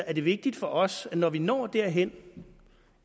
er det vigtigt for os vil når vi når derhen